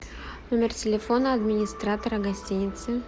номер телефона администратора гостиницы